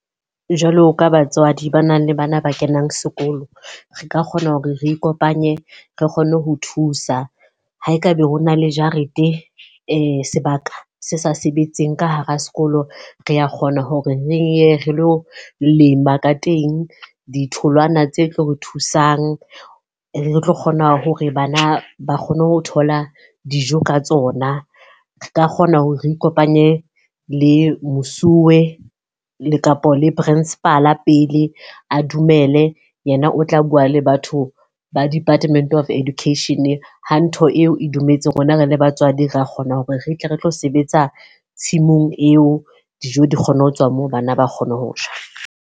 Jwalo ka batswadi ba nang le bana ba kenang sekolo. Re ka kgona hore re ikopanye re kgonne ho thusa. Ha ekaba ho na le jarete sebaka se sa sebetseng ka hara sekolo. Re a kgona hore re ye re lo lema ka teng ditholwana tse tlo re thusang, re tlo kgona hore bana ba kgone ho thola dijo ka tsona. Re ka kgona hore re ikopanye le mosuwe le kapo le principal pele a dumele, yena o tla bua le batho ba Department of Education. Ha ntho eo e dumetse rona re le batswadi ra kgona hore re tle re tlo sebetsa tshimong eo. Dijo di kgone ho tswa moo bana ba kgone ho ja.